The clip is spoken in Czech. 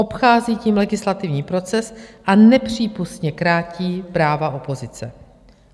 Obchází tím legislativní proces a nepřípustně krátí práva opozice.